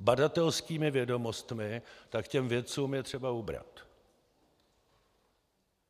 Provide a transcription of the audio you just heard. badatelskými vědomostmi, tak těm vědcům je třeba ubrat.